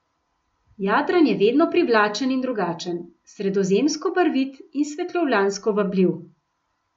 Jadran je vedno privlačen in drugačen, sredozemsko barvit in svetovljansko vabljiv.